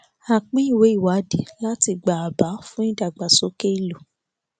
a pín ìwé ìwádìí láti gba àbá fún ìdàgbàsókè ìlú